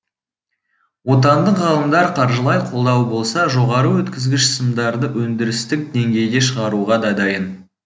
отандық ғалымдар қаржылай қолдау болса жоғары өткізгіш сымдарды өндірістік деңгейде шығаруға да дайын